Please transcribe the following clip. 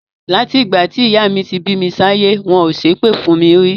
Láti ìgbà tí ìyá mi ti bí mi sáyé, wọn ò ṣépè fún mi rí.